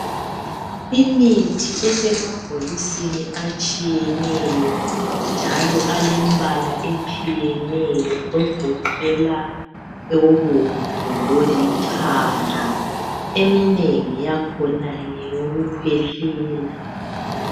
imithi esemabhokisini atshiyeneyo njalo alembalas esthiyeneyo egoqela obomvu lolithanga eminengi yakhona ngeyokukhwehlela